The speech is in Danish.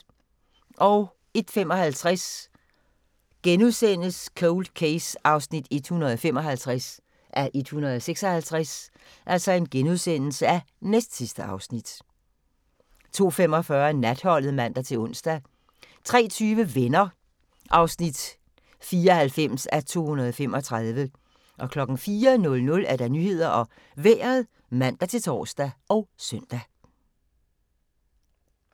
01:55: Cold Case (155:156)* 02:45: Natholdet (man-ons) 03:20: Venner (94:235) 04:00: Nyhederne og Vejret (man-tor og søn)